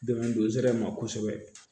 Dɛmɛ don nsɛnɛ ma kosɛbɛ